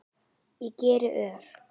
Ég geri ör